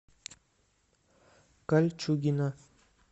кольчугино